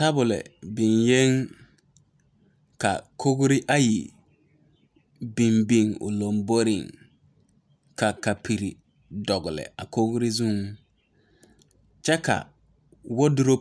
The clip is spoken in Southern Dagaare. Tabol biŋee la kyɛ ka kogre ayi biŋ o laŋboreŋ ka kapuro dɔgle a Kogi zu. Woduro